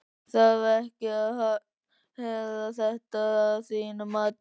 Þarf ekkert að herða þetta að þínu mati?